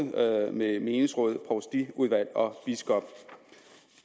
menighedsråd provstiudvalg og biskop